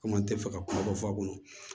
Komi an tɛ fɛ ka kuma dɔ fɔ a kɔnɔ